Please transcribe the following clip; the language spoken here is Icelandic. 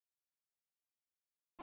Hvort ég mundi.